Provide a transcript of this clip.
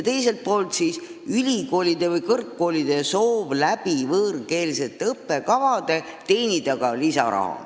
Teiselt poolt on kõrgkoolidel soov teenida ka lisaraha võõrkeelsete õppekavade kaudu.